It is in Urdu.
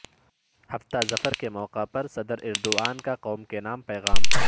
ہفتہ ظفر کے موقع پر صدر ایردوان کا قوم کے نام پیغام